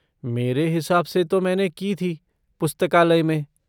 मेरे हिसाब से तो मैंने की थी, पुस्तकालय में।